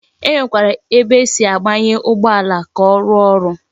E Nwekwara ebe esi agbanye Ugbo ala, ka o ruo oru